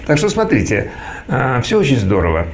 так что смотрите всё очень здорово